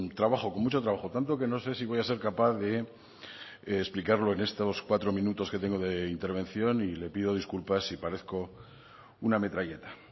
trabajo con mucho trabajo tanto que no sé si voy a ser capaz de explicarlo en estos cuatro minutos que tengo de intervención y le pido disculpas si parezco una metralleta